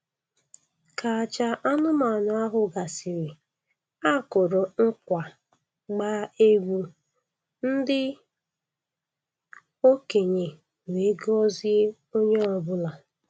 Ka aja anụmanụ ahụ gasịrị, a kụrụ nkwa, gbaa egwu, ndị okenye wee gọzie onye ọbụla